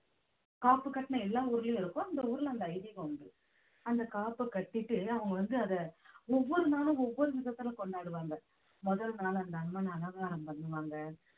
காப்பு கட்டின எல்லா ஊர்லயும் இருக்கும் அந்த ஊர்ல அந்த ஐதீகம் உண்டு அந்த காப்ப கட்டிட்டு அவங்க வந்து அதை ஒவ்வொரு நாளும் ஒவ்வொரு விதத்துல கொண்டாடுவாங்க முதல் நாள் அந்த அம்மனை அலங்காரம் பண்ணுவாங்க